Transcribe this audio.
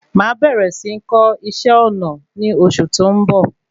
Máa bẹ̀rẹ̀ sí kọ́ iṣẹ́ ọna ní osù tí ó ń bọ̀.